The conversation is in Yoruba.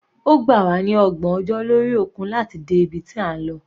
Ó gbà wá ní ọgbọ̀n ọjọ́ lórí òkun láti dé ibi tí a ń lọ.